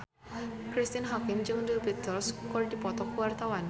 Cristine Hakim jeung The Beatles keur dipoto ku wartawan